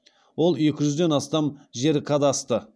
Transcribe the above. ол екі жүзден астам жер кадасты